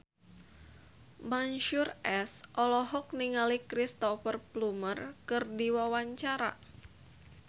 Mansyur S olohok ningali Cristhoper Plumer keur diwawancara